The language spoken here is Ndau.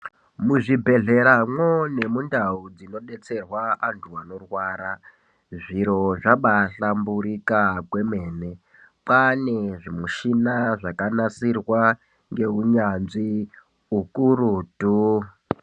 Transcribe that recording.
Muzvibhehleramwo nemundau munodetserwa antu anorwara zviro zvabahlamburuka kwemene. Kwane zvimushina zvakanasirwa neuyanzvi ukurutu.